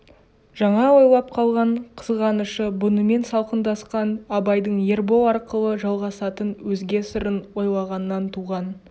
жаңа ойлап қалған қызғанышы бұнымен салқындасқан абайдың ербол арқылы жалғасатын өзге сырын ойлағаннан туған